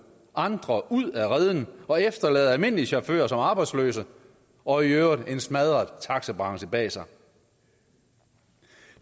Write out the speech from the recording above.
andre ud af reden og efterlader almindelige chauffører som arbejdsløse og i øvrigt en smadret taxabranche bag sig